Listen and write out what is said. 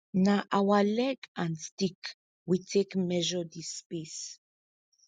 na our leg and stick we take measure di space